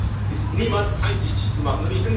Das ist niemandem einsichtig zu machen.